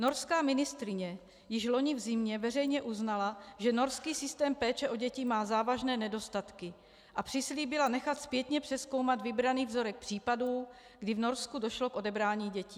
Norská ministryně již loni v zimě veřejně uznala, že norský systém péče o děti má závažné nedostatky a přislíbila nechat zpětně přezkoumat vybraný vzorek případů, kdy v Norsku došlo k odebrání dětí.